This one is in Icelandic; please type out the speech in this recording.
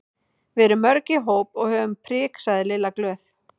Við erum mörg í hóp og höfum prik sagði Lilla glöð.